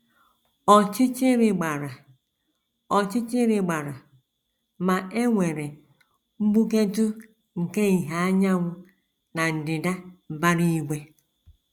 Ọchịchịrị gbara Ọchịchịrị gbara, ma e nwere mgbuketụ nke ìhè anyanwụ na ndịda mbara igwe.